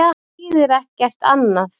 Það þýðir ekkert annað.